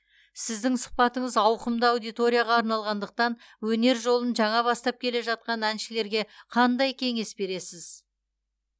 сіздің сұхбатыңыз ауқымды аудиторияға арналғандықтан өнер жолын жаңа бастап келе жатқан әншілерге қандай кеңес бересіз